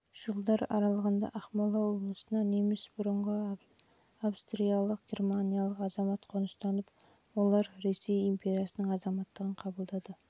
мен жылдар аралығында ақмола облысына неміс бұрынғы австриялық германдық азамат қоныстанып олар ресей империясының азаматтығын қабылдады